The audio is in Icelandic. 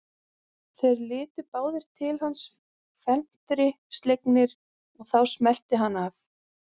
Þeir litu báðir til hans felmtri slegnir og þá smellti hann af.